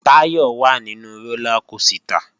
Táyọ̀ wà nínu rólá kosìtà